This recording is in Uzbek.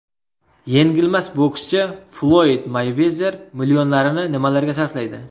Yengilmas bokschi Floyd Meyvezer millionlarini nimalarga sarflaydi?.